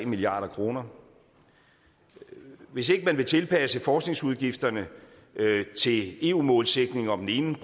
milliard kroner hvis ikke man vil tilpasse forskningsudgifterne til eu målsætningen om en